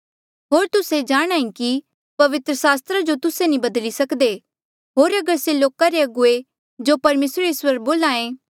होर तुस्से जाणहां ऐें कि पवित्र सास्त्रा जो तुस्से नी बदली सकदे होर अगर से लोका रे अगुवे जो परमेसरे इस्वर बोल्हा